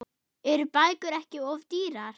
Eru bækur ekki of dýrar?